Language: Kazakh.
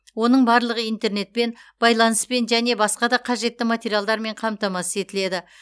оның барлығы интернетпен байланыспен және басқа да қажетті материалдармен қамтамасыз етіледі